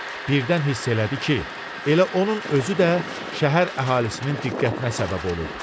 Birdən hiss elədi ki, elə onun özü də şəhər əhalisinin diqqətinə səbəb olub.